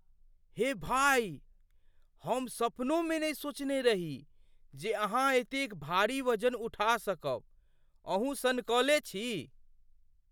हे भाइ! हम सपनोमे नहि सोचने रही जे अहाँ एतेक भारी वजन उठा सकब, अहूँ सनकले छी!